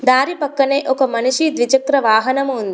దారి పక్కనే ఒక మనిషి ద్విచక్ర వాహనము ఉంది.